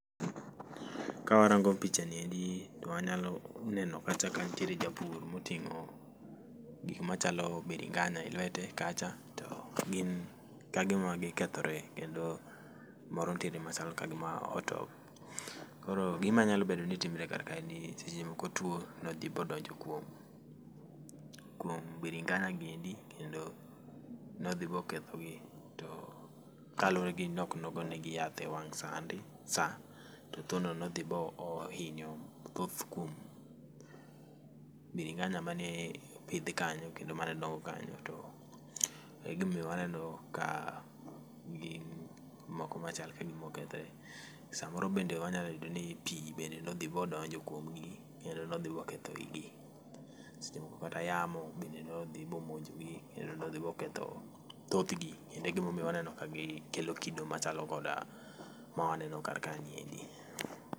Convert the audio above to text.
Kawarango picha niendi to wanyalo neno kacha ka nitiere japur moting'o gik machalo biringanya e lwete kacha to gin kagima gikethore kendo moro nitiere machalo kagima otow. Koro gima nyalo bedo ni timore kar kae ni seche moko tuo nodhi bodonjo kuom kuom biringanya giendi kendo nodhi boketho gi to kaluwore gi nok nogo negi yath e wang' sandi sa to tuo no nodhi bohinyo thoth kuom biringanya ma ne opidhi kanyo kendo ma aneno kanyo to e gima omiyo waneno ka gin moko machal kagima okethore. Samoro bende wanyalo yudo ni pi bende nodhi bodonjo kuom gi kendo nodhi boketho igi. Seche moko kata yamo bende nodhi bomonjo gi kendo nodhi boketho thoth gi kendo egima omiyo waneno ka gi kelo kido machalo koda ma waneno kar kae niendi.